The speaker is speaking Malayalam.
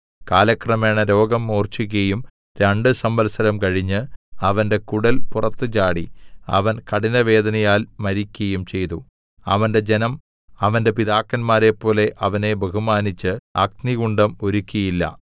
കാലക്രമേണ രോഗം മൂർഛിക്കയും രണ്ട് സംവത്സരം കഴിഞ്ഞ് അവന്റെ കുടൽ പുറത്തുചാടി അവൻ കഠിനവേദനയാൽ മരിക്കയും ചെയ്തു അവന്റെ ജനം അവന്റെ പിതാക്കന്മാരെപോലെ അവനെ ബഹുമാനിച്ച് അഗ്നികുണ്ഠം ഒരുക്കിയില്ല